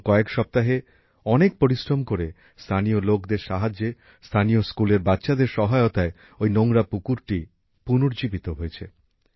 গত কয়েক সপ্তাহে অনেক পরিশ্রম করে স্থানীয় লোকদের সাহায্যে স্থানীয় স্কুলের বাচ্চাদের সহায়তায় ঐ নোংরা পুকুরটি পুনরুদ্ধার হয়েছে